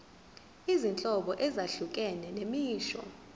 izinhlobo ezahlukene zemisho